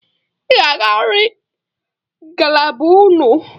Ị ga-agarịrị ngalaba unu!